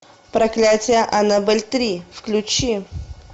проклятие аннабель три включи